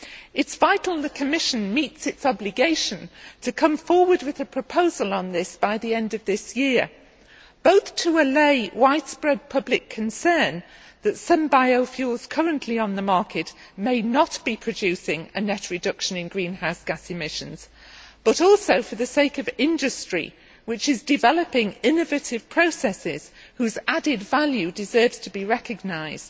It is vital the Commission meets its obligation to come forward with a proposal on this by the end of this year, both to allay widespread public concern that some biofuels currently on the market may not be producing a net reduction in greenhouse gas emissions, and also for the sake of industry which is developing innovative processes whose added value deserves to be recognised.